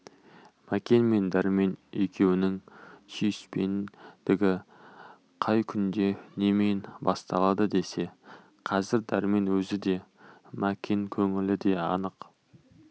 мәкен мен дәрмен екеуінің сүйіспендігі қай күнде немен басталды десе қазір дәрмен өзі де мәкен көңілі де анық